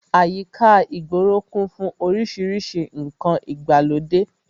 Àyíká ìgboro kún fún orísìírísìí ǹkan ìgbàlódé